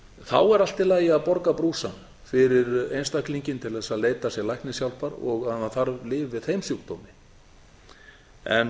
þá er allt í lagi að borga brúsann fyrir einstaklinginn til þess að leita sér læknishjálpar og ef hann þarf lyf við þeim sjúkdómi en